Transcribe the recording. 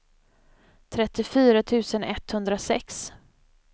trettiofyra tusen etthundrasex